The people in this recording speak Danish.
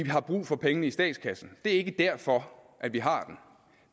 har brug for pengene i statskassen det er ikke derfor at vi har den